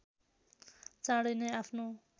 चाँडै नै आफ्नो